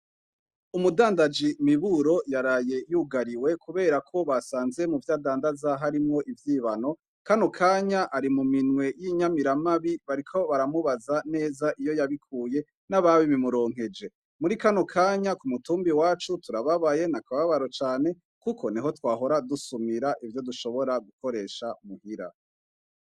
Umudandaji miburo yaraye yugariwe, kubera ko basanze mu vyadandazaho arimwo ivyibano kano kanya ari mu minwe y'inyamiramabi bariko baramubaza neza iyo yabikuye n'ababi bimuronkeje muri kano kanya ku mutumbi wacu turababaye na akababaro cane, kuko ne ho twahora dusumye ra ivyo dushobora gukoresha muhira.